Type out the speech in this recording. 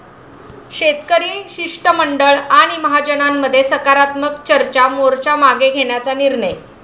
शेतकरी शिष्टमंडळ आणि महाजनांमध्ये सकारात्मक चर्चा, मोर्चा मागे घेण्याचा निर्णय